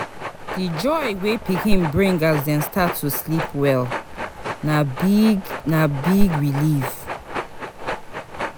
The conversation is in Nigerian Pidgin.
Di joy wey pikin bring as dem start to sleep well, na big na big relief.